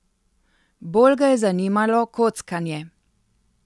Bolj ga je zanimalo kockanje.